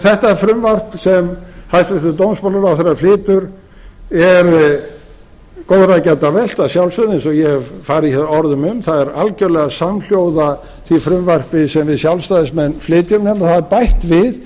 þetta frumvarp sem hæstvirtur dómsmálaráðherra flytur er góðra gjalda vert að sjálfsögðu eins og ég hef farið hér orðum um það er algerlega samhljóða því frumvarpi sem við sjálfstæðismenn flytjum en hafa bætt við